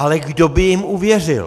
Ale kdo by jim uvěřil?